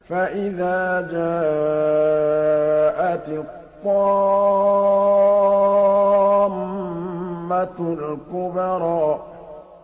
فَإِذَا جَاءَتِ الطَّامَّةُ الْكُبْرَىٰ